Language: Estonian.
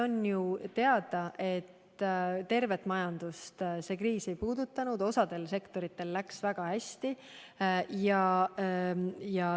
On ju teada, et kogu majandust see kriis ei puudutanud, osal sektoritel läks väga hästi.